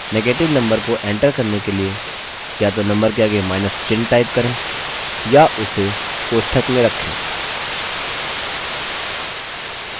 negative number को enter करने के लिए या तो number के आगे माइनस चिन्ह type करें या उसे कोष्ठक में रखें